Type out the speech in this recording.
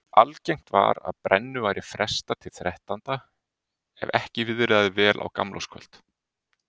Algengt var að brennu væri frestað til þrettánda ef ekki viðraði vel á gamlárskvöld.